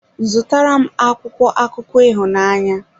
Zụrụ tara m akwụkwọ akụkọ ịhụnanya.